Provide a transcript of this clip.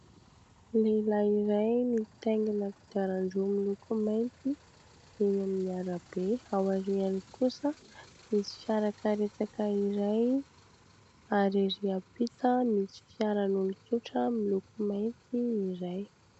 Lehilahy iray mitaingina kodiaran-droa miloko mainty eny amin'ny arabe. Aoriany kosa misy fiarakaretsaka iray ary ery ampita misy fiaran'olon-tsotra miloko mainty iray.